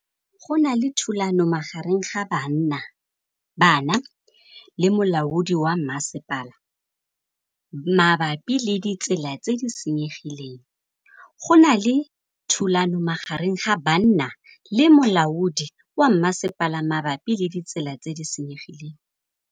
Go na le thulanô magareng ga banna le molaodi wa masepala mabapi le ditsela tse di senyegileng.